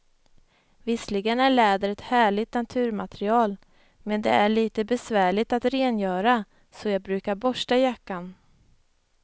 Visserligen är läder ett härligt naturmaterial, men det är lite besvärligt att rengöra, så jag brukar borsta jackan.